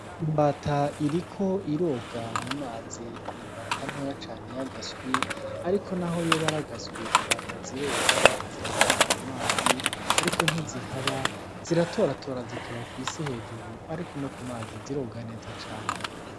Imbata iriko iroga mu mazi n'i imbata ntoya cane y'agaswi ariko n'aho yoba ari agaswi, imbata ziroga, zirakunda mu mazi ariko ntizihaba, ziratoratora zikaba kw'isi hejuru, ariko no ku mazi ziroga neza cane.